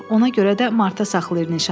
Ona görə də marta saxlayır nişanı.